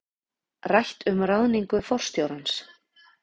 Rætt um ráðningu forstjórans